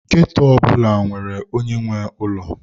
Ghetto ọ bụla nwere onye nwe ụlọ.